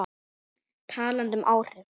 Talandi um áhrif.